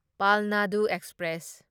ꯄꯥꯜꯅꯗꯨ express